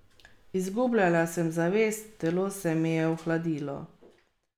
Izgubljala sem zavest, telo se mi je ohladilo.